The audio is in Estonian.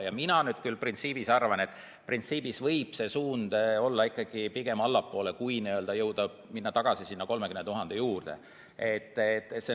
Ja mina küll arvan, et printsiibis võib see suund olla ikkagi pigem allapoole, kui minna tagasi sinna 30 000 juurde.